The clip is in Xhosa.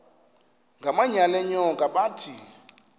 ngamanyal enyoka bathi